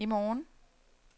i morgen